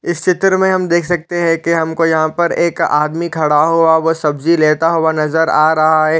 इस चित्र मे हम देख सकते है की हमको यहाँ पर एक आदमी खड़ा हुआ व सब्जी लेता हुआ नज़र आ रहा है।